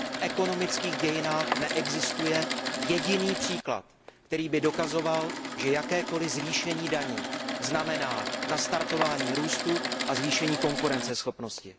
V ekonomických dějinách neexistuje jediný příklad, který by dokazoval, že jakékoliv zvýšení daní znamená nastartování růstu a zvýšení konkurenceschopnosti.